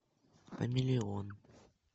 хамелеон